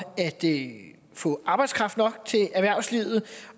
at få arbejdskraft nok til erhvervslivet